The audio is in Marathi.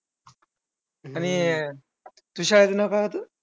आणि तुझ्या शाळेच्या नाव काय होतं?